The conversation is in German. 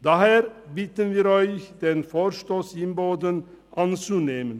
Daher bitten wir Sie, den Vorstoss Imboden anzunehmen.